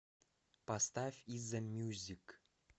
поставь иззамьюзик